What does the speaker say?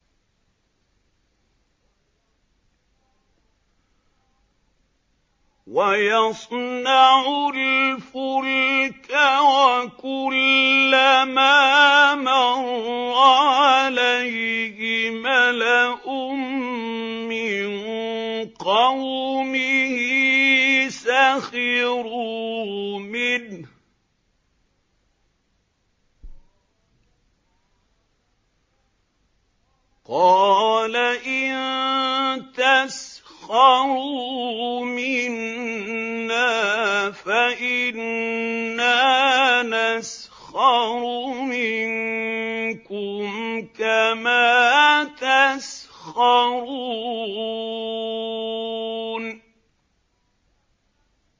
وَيَصْنَعُ الْفُلْكَ وَكُلَّمَا مَرَّ عَلَيْهِ مَلَأٌ مِّن قَوْمِهِ سَخِرُوا مِنْهُ ۚ قَالَ إِن تَسْخَرُوا مِنَّا فَإِنَّا نَسْخَرُ مِنكُمْ كَمَا تَسْخَرُونَ